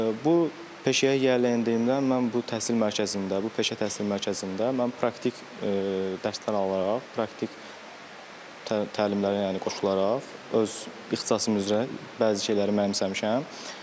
Bu peşəyə yiyələndiyimdə mən bu təhsil mərkəzində, bu peşə təhsil mərkəzində mən praktik dərslər alaraq, praktik təlimlərə yəni qoşularaq, öz ixtisasım üzrə bəzi şeyləri mənimsəmişəm.